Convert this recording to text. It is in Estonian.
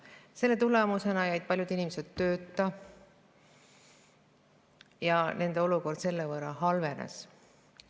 Selle tõttu on paljud inimesed jäänud tööta ja nende olukord on halvenenud.